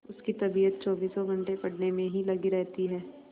उसकी तबीयत चौबीसों घंटे पढ़ने में ही लगी रहती है